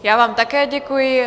Já vám také děkuji.